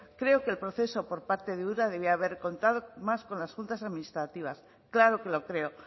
creo que el proceso por parte de ura debía haber contado más con las juntas administrativas claro que lo creo